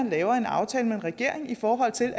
laver en aftale med en regering i forhold til